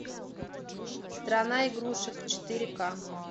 страна игрушек четыре ка